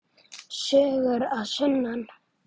Sögur að sunnan.